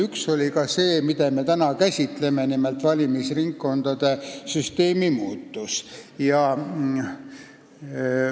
Üks oli ka see, mida me täna käsitleme, nimelt valimisringkondade süsteemi muutmine.